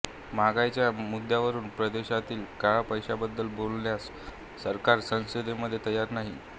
महागाईच्या मुद्यावरून परदेशातील काळा पैशाबद्दल बोलण्यास सरकार संसदेमध्ये तयार नाही